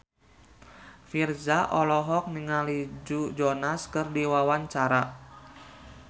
Virzha olohok ningali Joe Jonas keur diwawancara